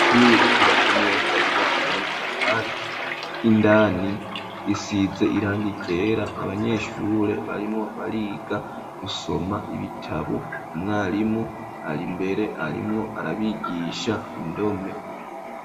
Ishure ryubatswe neza rubakishijwe n'amatafari ,indani isize irangi ryera ,abanyeshure barimwo bariga gusoma ibitabu ,umwarimu ari mbere arimwo arabigisha indome.